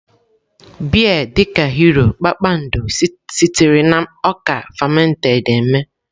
Beer dị ka Hero, Kpakpando, sitere na ọka fermented eme.